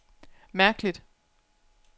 mærkeligt